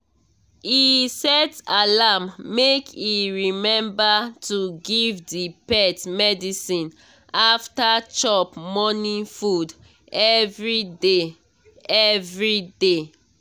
he set alarm make e remember to give the pet medicine after chop morning food every day. every day.